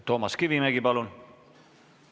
Toomas Kivimägi, palun!